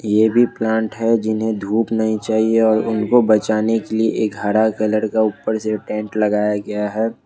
ये भी प्लांट है जिन्हें धूप नहीं चाहिए और उनको बचाने के लिए एक हरा कलर का ऊपर से टेंट लगाया गया है।